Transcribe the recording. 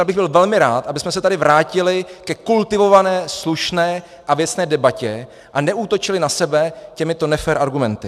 Já bych byl velmi rád, abychom se tady vrátili ke kultivované, slušné a věcné debatě, a neútočili na sebe těmito nefér argumenty.